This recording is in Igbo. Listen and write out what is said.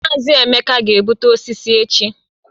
Mazi Emeka ga-egbutu osisi echi